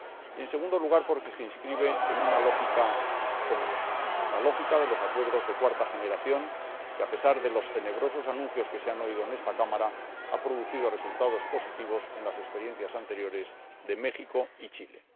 y, en segundo lugar, porque se inscribe en una lógica común, la lógica de los acuerdos de cuarta generación, que, a pesar de los tenebrosos anuncios que se han oído en esta Cámara, ha producido resultados positivos en las experiencias anteriores de México y Chile.